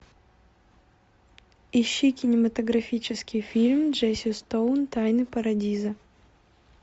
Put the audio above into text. ищи кинематографический фильм джесси стоун тайны парадиза